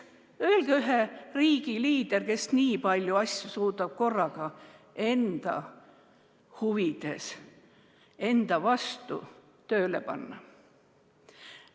Öelge ühe riigi liider, kes suudaks nii palju asju korraga enda huvides või enda vastu tööle panna.